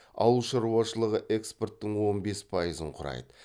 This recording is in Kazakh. ауылшаруашылығы экспорттың он бес пайызын құрайды